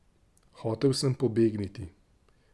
Hotel sem pobegniti.